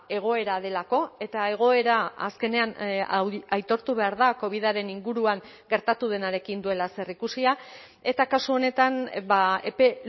egoera delako eta egoera azkenean aitortu behar da covidaren inguruan gertatu denarekin duela zerikusia eta kasu honetan epe